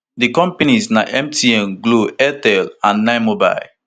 di companies na mtn glo airtel and ninemobile